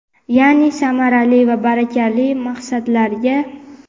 Ya’ni samarali va barakali maqsadlarga.